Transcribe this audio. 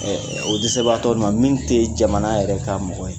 Ɔɔ o dɛsɛbagatɔluw man min tɛ jamana yɛrɛ ka mɔgɔ ye